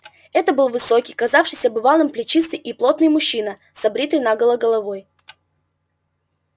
это был высокий казавшийся бывалым плечистый и плотный мужчина с обритой наголо головой